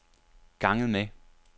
ganget med